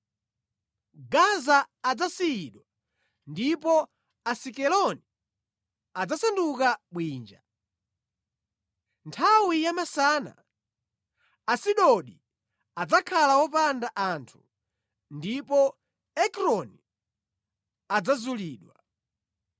Gaza adzasiyidwa ndipo Asikeloni adzasanduka bwinja. Nthawi yamasana Asidodi adzakhala wopanda anthu ndipo Ekroni adzazulidwa.